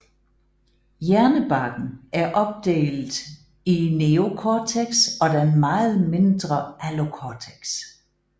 Hjernebarken er opdelt i neocortex og den meget mindre allocortex